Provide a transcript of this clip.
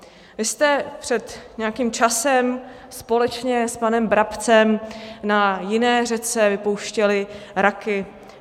Vy jste před nějakým časem společně s panem Brabcem na jiné řece vypouštěli raky.